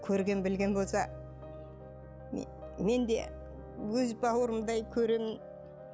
көрген білген болса мен де өз бауырымдай көремін